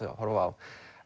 horfa á